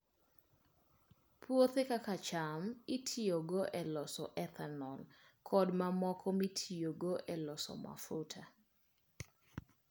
Puothe kaka cham itiyogo e loso ethanol kod mamoko mitiyogo e loso mafuta.